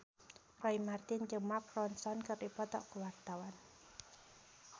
Roy Marten jeung Mark Ronson keur dipoto ku wartawan